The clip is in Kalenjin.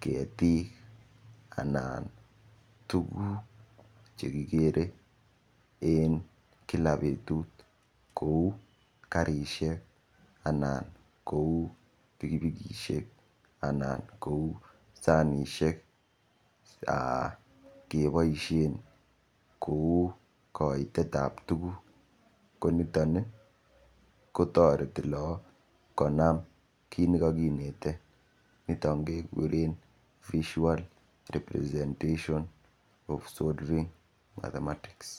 ketik anan tukuk chekikere eng kila betut kou karishek anan kou pikipikishek anan kou sanishek keboishen kou koitet ap tukuk ko niton kotoreti laak konam kiit nikakineten niton kekuren visual representation of solving mathematics.